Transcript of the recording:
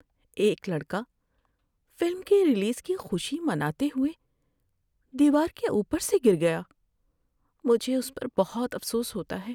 ایک لڑکا فلم کی ریلیز کی خوشی مناتے ہوئے دیوار کے اوپر سے گر گیا۔ مجھے اس پر بہت افسوس ہوتا ہے۔